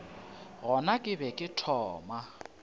gona ke be ke thoma